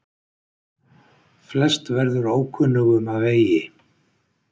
Flest verður ókunnugum að vegi.